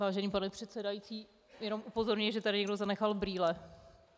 Vážený pane předsedající, jenom upozorňuji, že tady někdo zanechal brýle.